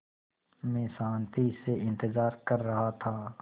मैं शान्ति से इंतज़ार कर रहा था